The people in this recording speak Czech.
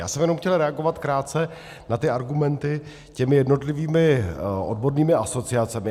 Já jsem jenom chtěl reagovat krátce na ty argumenty těmi jednotlivými odbornými asociacemi.